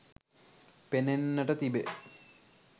පෙනෙන්නට තිබේ